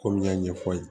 K'olu y'a ɲɛfɔ